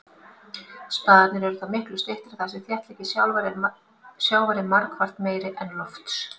Spaðarnir eru þó miklu styttri þar sem þéttleiki sjávar er margfalt meiri en lofts.